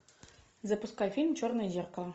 запускай фильм черное зеркало